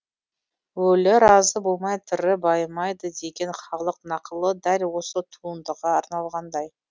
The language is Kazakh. өлі разы болмай тірі байымайды деген халық нақылы дәл осы туындыға арналғандай